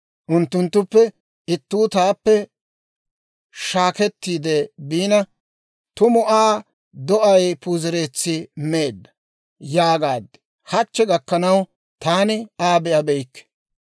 unttunttuppe ittuu taappe shaakettiide biina, «Tumu Aa do'ay puuzereetsi meedda» yaagaad; hachche gakkanaw taani Aa be'abeykke.